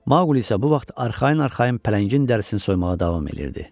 Mauqli isə bu vaxt arxayın-arxayın pələngin dərisini soymağa davam edirdi.